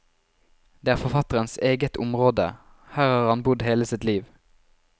Det er forfatterens eget område, her har han bodd hele sitt liv.